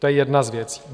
To je jedna z věcí.